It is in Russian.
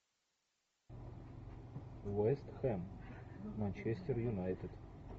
вест хэм манчестер юнайтед